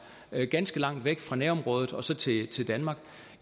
ganske langt væk fra nærområdet og så til til danmark